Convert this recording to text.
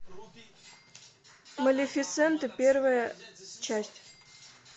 малефисента первая часть